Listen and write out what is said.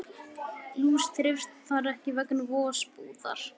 Lús þreifst þar ekki vegna vosbúðar.